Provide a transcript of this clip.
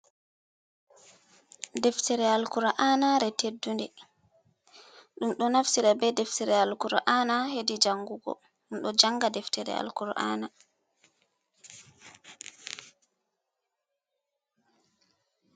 Deftere alkura'aana teddu nde, ɗum do tafsira be deftere alkura’aana hedi jangugo, ɗum ɗo janga deftere alkura'aana.